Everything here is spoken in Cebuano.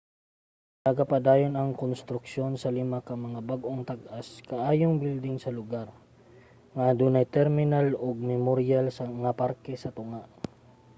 nagapadayon ang konstruksyon sa lima ka mga bag-ong tag-as kaayong building sa lugar nga adunay terminal ug memoryal nga parke sa tunga